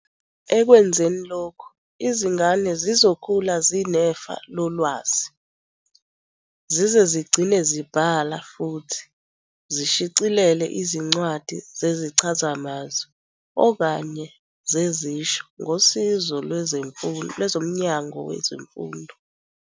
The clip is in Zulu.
Ekwenzeni lokhu, izingane zizokhula zinefa lolwazi, zize zigcine zibhale futhi zishicilele izincwadi zezichazamazwi okanye zezisho ngosizo lwezo Mnyango wezeMfundo.